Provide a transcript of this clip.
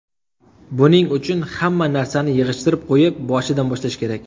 Buning uchun hamma narsani yig‘ishtirib qo‘yib, boshidan boshlash kerak.